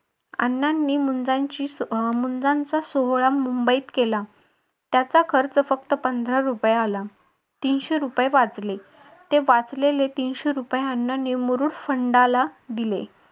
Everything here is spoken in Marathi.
अण्णांनी मुंजांची मुंजांचा सोहळा मुंबईत केला. त्याचा खर्च फक्त पंधरा रुपये आला. तीनशे रुपये वाचले. ते वाचलेले तीनशे रुपये अण्णांनी मुरुड फंडाला दिले.